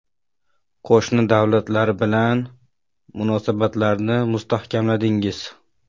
Qo‘shni davlatlar bilan munosabatlarni mustahkamladingiz.